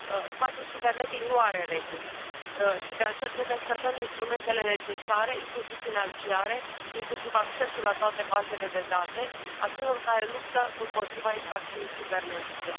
Spațiul cibernetic nu are reguli și de aceea trebuie să dăm instrumentele necesare, inclusiv financiare, inclusiv accesul la toate bazele de date celor care luptă împotriva infracțiunii cibernetice.